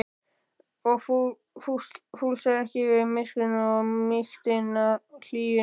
og fúlsaði ekki við myrkrinu og mýktinni og hlýjunni.